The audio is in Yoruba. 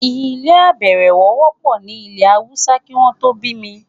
ilé -àbẹ̀ẹ̀rẹ̀wọ̀ wọ́pọ̀ ní ilẹ̀-haúsá kí wọ́n tó bí mi.